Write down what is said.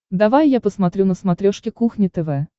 давай я посмотрю на смотрешке кухня тв